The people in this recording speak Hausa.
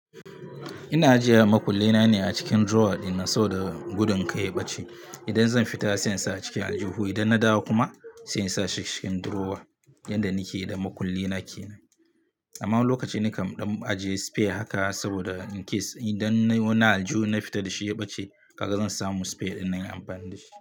Ina ajiye makullaina ne a cikin drawer ɗina saboda gudun kai ya ɓace. Idan zan fita sai in sa a cikin aljihu, idan na dawo kuma sai in sa shi cikin drawer yadda nake da makullina kenan. Amma wani lokaci nikan ɗan ajiye spare haka saboda in case idan wani aljihu na fita da shi ya ɓace, kaga zan samu spare dinnan in yi amfani da shi.